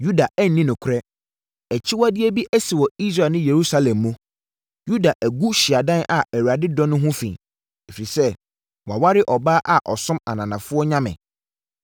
Yuda anni nokorɛ. Akyiwadeɛ bi asi wɔ Israel ne Yerusalem mu: Yuda agu hyiadan a Awurade dɔ no ho fi, ɛfiri sɛ waware ɔbaa a ɔsom ananafoɔ nyame.